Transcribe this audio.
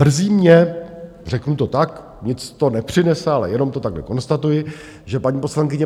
Mrzí mě, řeknu to tak, nic to nepřinese, ale jenom to takhle konstatuji, že paní poslankyně